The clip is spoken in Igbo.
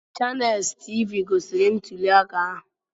Chaneels Tiivii gosiri ntuli aka ahụ.